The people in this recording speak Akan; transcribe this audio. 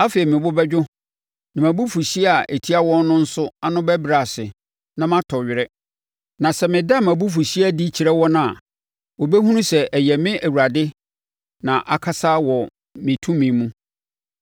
“Afei me bo bɛdwo na mʼabufuhyeɛ a ɛtia wɔn no nso ano bɛbrɛ ase na matɔ were. Na sɛ meda mʼabufuhyeɛ adi kyerɛ wɔn a, wɔbɛhunu sɛ ɛyɛ me Awurade na akasa wɔ me tumi mu.